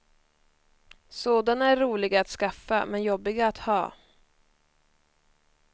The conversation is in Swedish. Sådana är roliga att skaffa men jobbiga att ha.